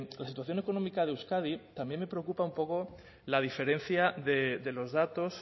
la situación económica de euskadi también me preocupa un poco la diferencia de los datos